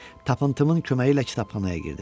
Tapıntımın köməyi ilə kitabxanaya girdim.